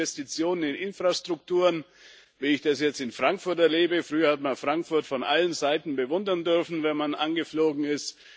Oder Investitionen in Infrastrukturen, wie ich das jetzt in Frankfurt erlebe Früher hat man Frankfurt von allen Seiten bewundern dürfen, wenn man angeflogen ist.